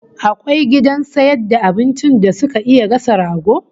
Akwai gidan sayar da abincin da suke iya gasa rago?